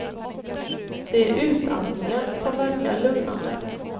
Det är utandningen som verkar lugnande.